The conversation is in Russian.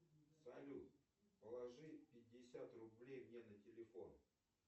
салют положи пятьдесят рублей мне на телефон